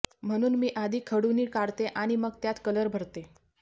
म्हणून मी आधी खडू नी काढते आणि मग त्यात कलर भरते